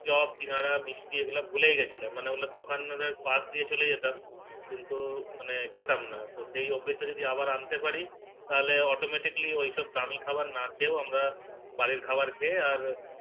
chop সিঙ্গাড়া মিষ্টি এগুলো ভুলেই গিয়েছিলাম মানে ওগুলোর দোকানের পাস দিয়ে চলে যেতাম কিন্তু মানে খেতাম না তো সেই অভ্যাস টা যদি আবার আনতে পারি তাহলে Automatically ওই সব দামি খাবার না খেও আমরা বাড়ির খাবার খেয়ে আর